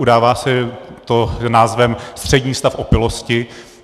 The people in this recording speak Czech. Udává se to názvem střední stav opilosti.